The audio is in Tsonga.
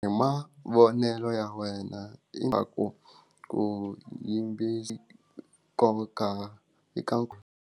Hi mavonelo ya wena ingaku ku yimbeli ko ka hi ka.